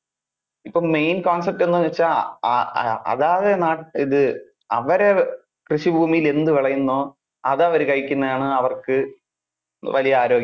ഇപ്പൊ main concept എന്ന് വെച്ചാൽ. ആഹ് അതാതു ഏർ ഇത് അവരേ കൃഷി ഭൂമിയിൽ എന്ത് വിളയുന്നു അത് അവര് കഴിക്കുന്നതാണ് അവർക്ക് വലിയ ആരോഗ്യ~